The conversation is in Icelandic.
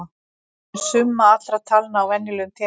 Hver er summa allra talna á venjulegum teningi?